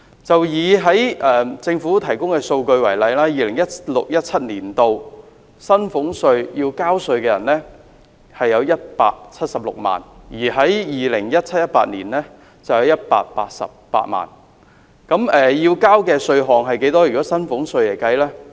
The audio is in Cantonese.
根據政府提供的數據 ，2016-2017 年度要繳交薪俸稅的人有176萬 ，2017-2018 年度則有188萬，要繳交的稅項是多少呢？